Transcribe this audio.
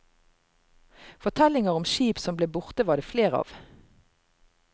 Fortellinger om skip som ble borte var det flere av.